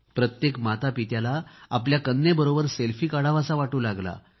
प्रत्येक मातापित्याला आपल्या कन्येबरोबर सेल्फी काढावासा वाटू लागला